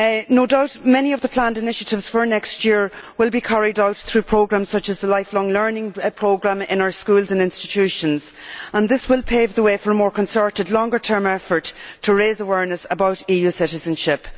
No doubt many of the planned initiatives for next year will be carried out through programmes such as the Lifelong Learning Programme in our schools and institutions, and this will pave the way for a more concerted longer term effort to raise awareness about EU citizenship.